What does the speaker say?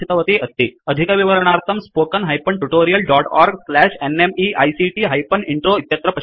अधिकविवरणार्थं spoken hyphen tutorial dot org slash NMEICT hyphen intro इत्यत्र पश्यन्तु